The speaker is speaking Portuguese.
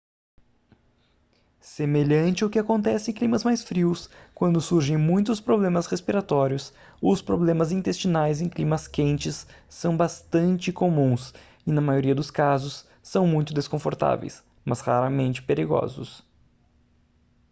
semelhante ao que acontece em climas mais frios quando surgem muitos problemas respiratórios os problemas intestinais em climas quentes são bastante comuns e na maioria dos casos são muito desconfortáveis mas raramente perigosos